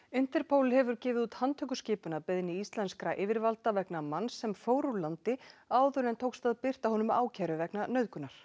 Interpol hefur gefið út handtökuskipun að beiðni íslenskra yfirvalda vegna manns sem fór úr landi áður en tókst að birta honum ákæru vegna nauðgunar